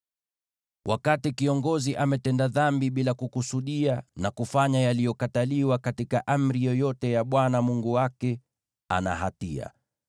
“ ‘Wakati kiongozi ametenda dhambi bila kukusudia na kufanya yaliyokatazwa katika amri yoyote ya Bwana Mungu wake, ana hatia.